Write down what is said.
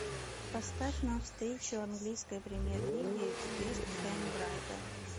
поставь нам встречу английской премьер лиги вест хэм брайтон